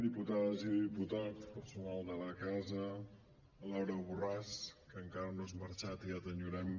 diputades i diputats personal de la casa laura borràs que encara no has marxat i ja t’enyorem